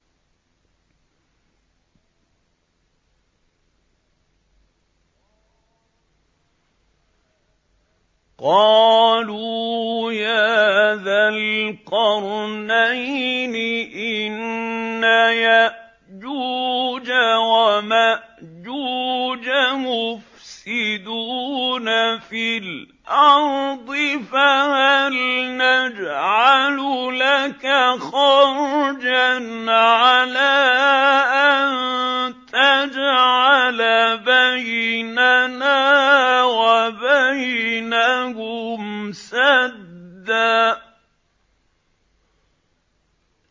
قَالُوا يَا ذَا الْقَرْنَيْنِ إِنَّ يَأْجُوجَ وَمَأْجُوجَ مُفْسِدُونَ فِي الْأَرْضِ فَهَلْ نَجْعَلُ لَكَ خَرْجًا عَلَىٰ أَن تَجْعَلَ بَيْنَنَا وَبَيْنَهُمْ سَدًّا